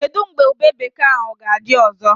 Kedụ mgbe ube bekee ahụ ga-adị ọzọ?